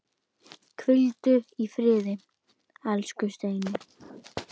Hvíldu í friði, elsku Steini.